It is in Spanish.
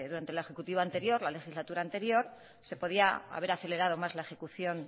durante la ejecutiva anterior la legislatura anterior se podía haber acelerado más la ejecución